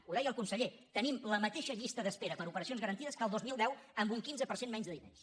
ho deia el conseller tenim la mateixa llista d’espera per a operacions garantides que el dos mil deu amb un quinze per cent menys de diners